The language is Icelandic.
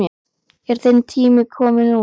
Er þinn tími kominn núna?